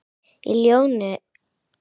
Í ljóðinu eru þessar línur